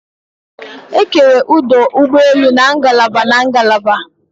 Ekere ọdụ ụgbọelu na ngalaba na ngalaba